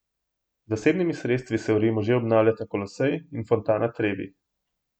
Z zasebnimi sredstvi se v Rimu že obnavljata Kolosej in fontana Trevi.